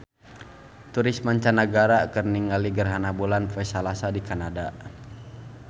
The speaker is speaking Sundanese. Turis mancanagara keur ningali gerhana bulan poe Salasa di Kanada